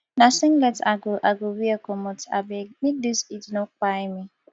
na singlet i go i go wear comot abeg make dis heat no kpai me